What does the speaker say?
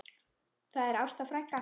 Það er Ásta frænka.